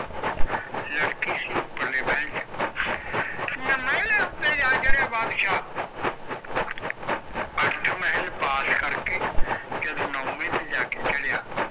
ਲੜਕੀ ਚ ਉਪਰ ਮਾਹਲ ਚ ਨਾ ਮੈਲਾ ਉਤੇ ਜਾ ਚੜ੍ਹਿਆ ਬੰਦਸ਼ ਅੱਠ ਮਾਹਲ ਪਾਰ ਕਰਕੇ ਜਦ ਨੋਵੇ ਤੇ ਜਾਕੇ ਚੜ੍ਹਿਆ